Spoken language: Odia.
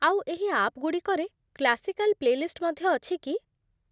ଆଉ ଏହି ଆପ୍‌ଗୁଡ଼ିକରେ କ୍ଳାସିକାଲ ପ୍ଳେଲିଷ୍ଟ ମଧ୍ୟ ଅଛି କି?